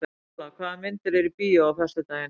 Sóla, hvaða myndir eru í bíó á föstudaginn?